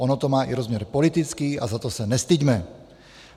Ono to má i rozměr politický a za to se nestyďme.